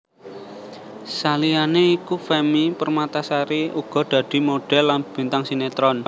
Saliyane iku Femmy Permatasari uga dadi modhél lan bintang sinetron